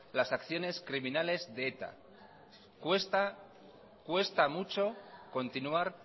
las acciones criminales de eta cuesta mucho continuar